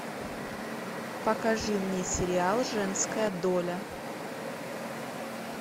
покажи мне сериал женская доля